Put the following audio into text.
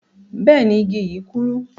Bẹẹni, igi yi kúrú.